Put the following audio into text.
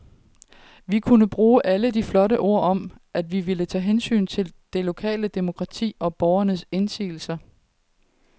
Vi kunne bruge alle de flotte ord om, at vi ville tage hensyn til det lokale demokrati og borgernes indsigelser.